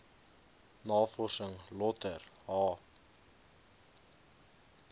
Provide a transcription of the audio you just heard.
navorsing lötter h